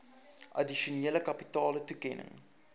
addisionele kapitale toekenning